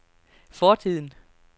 fortiden